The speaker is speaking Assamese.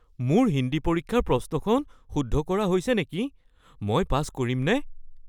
মোৰ হিন্দী পৰীক্ষাৰ প্ৰশ্নখন শুদ্ধ কৰা হৈছে নেকি? মই পাছ কৰিমনে? (ছাত্ৰ)